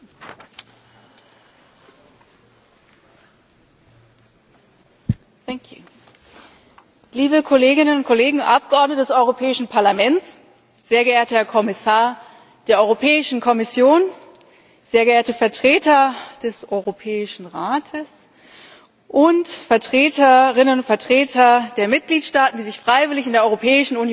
Frau Präsidentin! Liebe Kolleginnen und Kollegen und Abgeordnete des Europäischen Parlaments! Sehr geehrter Herr Kommissar der Europäischen Kommission! Sehr geehrte Vertreter des Europäischen Rates und Vertreterinnen und Vertreter der Mitgliedstaaten, die sich freiwillig in der Europäischen Union zusammengeschlossen haben.